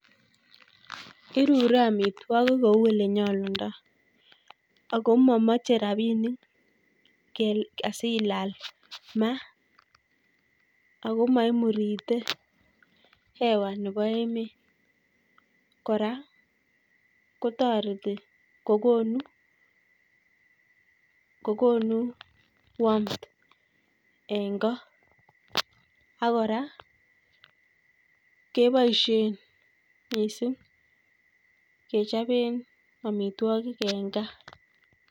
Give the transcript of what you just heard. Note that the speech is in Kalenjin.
Irure amitwogik kouu olenyolundoi akomamache rabinik kel, asilal ma akomaimurite hewa nebo emet kora kotoreti kokonu warmth eng' ko akora keboisie miising' kechobe amitwogik eng' gaa